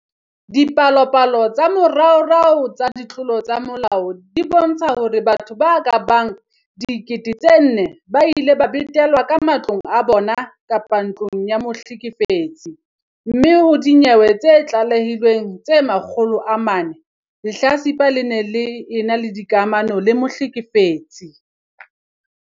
Dipalopalo tsa moraorao tsa ditlolo tsa molao di bontsha hore batho ba ka bang 4 000 ba ile ba betelwa ka matlong a bona kapa ntlong ya mohlekefetsi, mme ho dinyewe tse tlalehilweng tse 400, lehlatsipa le ne le ena le dikamano le mohlekefetsi.